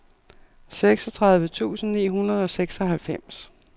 seksogtredive tusind ni hundrede og seksoghalvfems